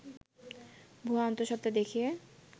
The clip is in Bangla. ভুয়া অন্ত:সত্ত্বা দেখিয়ে